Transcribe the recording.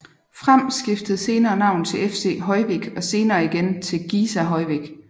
Fram skiftede senere navn til FC Hoyvík og igen senere til Giza Hoyvík